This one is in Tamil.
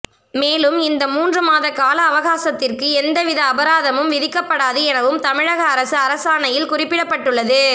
மேலும் இந்த மூன்று மாத கால அவகாசத்திற்கு எந்த வித அபராதமும் விதிக்கப்படாது எனவும் தமிழக அரசு அரசாணையில் குறிப்பிடப்பட்டுள்ளது